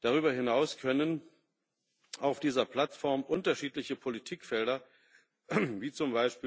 Darüber hinaus können auf dieser Plattform unterschiedliche Politikfelder wie z.